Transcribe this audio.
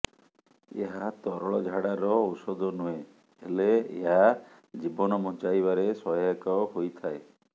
ଏହା ତରଳ ଝାଡ଼ାର ଔଷଧ ନୁହେଁ ହେଲେ ଏହା ଜୀବନ ବଞ୍ଚାଇବାରେ ସହାୟକ ହୋଇଥାଏ